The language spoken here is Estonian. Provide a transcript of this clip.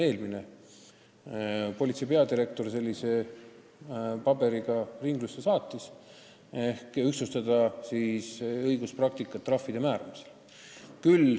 Eelmine politseipeadirektor saatis sellise paberi ringlusse, et ühtlustada õiguspraktikat trahvide määramisel.